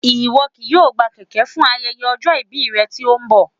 Ìwọ kì yóò gbà kèké fún ayẹyẹ ọjọ́ ìbí rẹ tí ó ń bọ̀